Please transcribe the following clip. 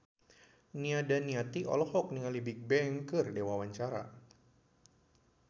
Nia Daniati olohok ningali Bigbang keur diwawancara